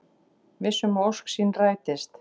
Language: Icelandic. Viss um að ósk sín rætist.